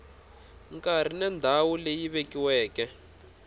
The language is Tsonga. nkarhi na ndhawu leyi vekiweke